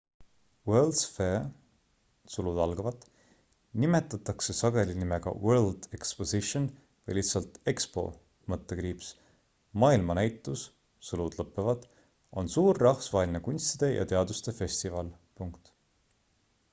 world's fair nimetatakse sageli nimega world exposition või lihtsalt expo – maailmanäitus on suur rahvusvaheline kunstide ja teaduste festival